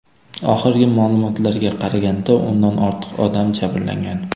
Oxirgi ma’lumotlarga qaraganda, o‘ndan ortiq odam jabrlangan.